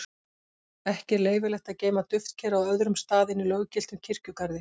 Ekki er leyfilegt að geyma duftkerið á öðrum stað en í löggiltum kirkjugarði.